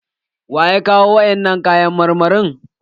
Waya kawo wa'innan kayan marmarin?